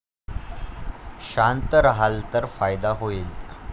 शांत राहाल तर फायदा होईल.